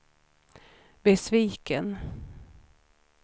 besviken